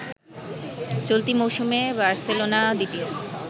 চলতি মৌসুমে বার্সেলোনা দ্বিতীয়